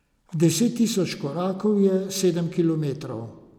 Deset tisoč korakov je sedem kilometrov.